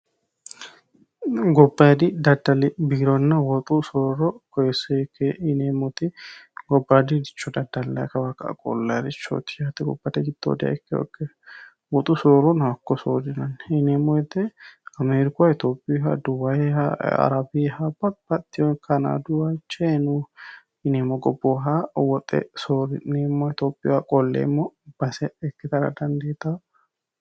gobbayidi daddali biironna woxu sooro koseke yineemmoti gobbadi richo daallay kawa ka'a qollay richooti yaate gobbate giddoodiha ikki hokkeho woxu sooronohakko soodinonni yineemmo woyte amiirikuha itophiha duwayiha arabeeha babbaxewo kanaaduha chayinuyiha yineemo woxe soori'neemmo itophih qolleemmo base ikkitara dandeeta